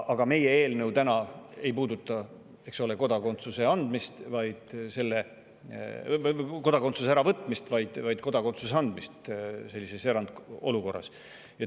Aga meie eelnõu täna ei puuduta kodakondsuse äravõtmist, vaid kodakondsuse andmist sellises erandolukorras.